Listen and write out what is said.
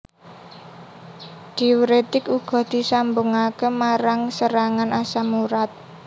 Diuretik uga disambungake marang serangan asam urat